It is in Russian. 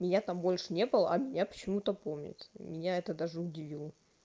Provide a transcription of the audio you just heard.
меня там больше не было а меня почему-то помнят меня это даже удивило